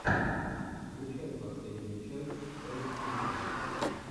включай последнюю часть элффише